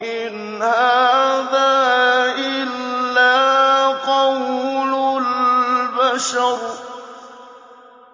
إِنْ هَٰذَا إِلَّا قَوْلُ الْبَشَرِ